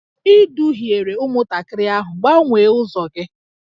Ị duhiere ụmụntakịrị ahụ, gbanwee ụzọ gị!